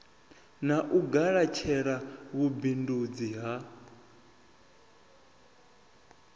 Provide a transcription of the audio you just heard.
na u galatshela vhubindundzi ha